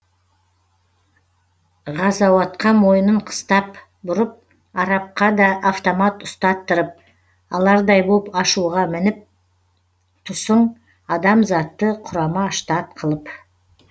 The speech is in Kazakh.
ғазауатқа мойынын қыстап бұрып арапқа да автомат ұстаттырып алардай боп ашуға мініп тұсың адамзатты құрама штат қылып